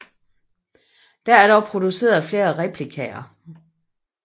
Der er dog produceret flere replikaer